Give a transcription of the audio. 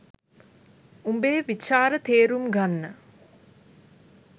උඹේ විචාර තේරුම් ගන්න